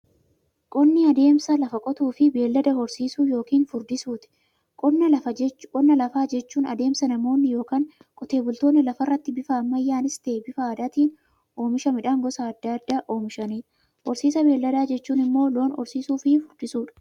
Qonni adeemsa lafa qotuufi beeylada horsiisuu yookiin furdisuuti. Qonna lafaa jechuun adeemsa namoonni yookiin Qotee bultoonni lafarraatti bifa ammayyanis ta'ee, bifa aadaatiin oomisha midhaan gosa adda addaa oomishaniidha. Horsiisa beeyladaa jechuun immoo loon horsiisuufi furdisuudha.